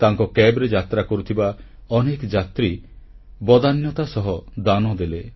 ତାଙ୍କ କ୍ୟାବ୍ ରେ ଯାତ୍ରା କରୁଥିବା ଅନେକ ଯାତ୍ରୀ ବଦାନ୍ୟତା ସହ ଦାନ ଦେଲେ